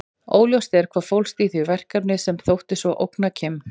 Óljóst er hvað fólst í því verkefni sem þótti svo ógna Kim.